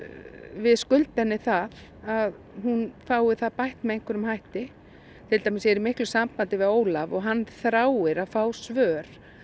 við skulda henni það að hún fái það bætt með einhverjum hætti ég er í miklu sambandi við Ólaf og hann þráir að fá svör